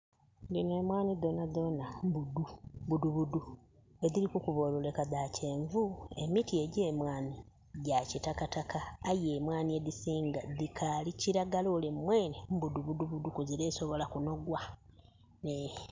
Dhino emwaani dhoonha dhoonha mmbudu budubudu edhiri okukuba oluleka dha kyenvu. Emiti egye mwaani gya kitakataka aye mwaani edhisinga dhikaali kiilagala ole mwene mbudubudubudu kuzira esobola kunogwa ee.